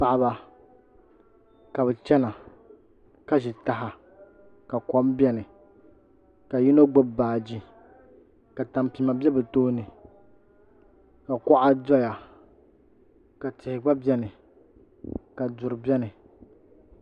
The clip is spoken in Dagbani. Paɣaba ka bi chɛna ka ʒi taha ka kom biɛni ka yino gbubi baaji ka tampima bɛ bi tooni ka kuɣa doya ka tihi gba biɛni ka duri biɛni